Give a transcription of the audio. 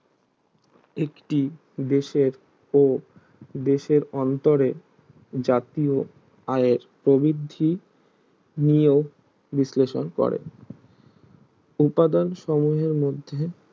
একটি দেশের ও দেশের অন্তরে জাতীয় আয়ের প্রবিদ্ধি নিয়েও বিশ্লেষণ করে উপাদান সমূহের মধ্যে